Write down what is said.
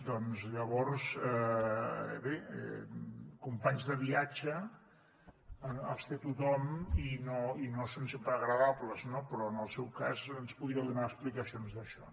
doncs llavors bé companys de viatge els té tothom i no són sempre agradables no però en el seu cas ens podria donar explicacions d’això